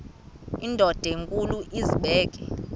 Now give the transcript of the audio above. indod enkulu izibeke